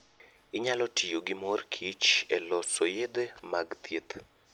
Onyalo tiyo gi mor kich e loso yedhe mag thieth.